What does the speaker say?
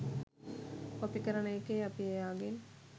copy කරන එකේ අපි එයාගෙන්